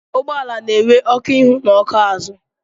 Ụgbọala na-enwe ọkụ ihu na ọkụ azụ.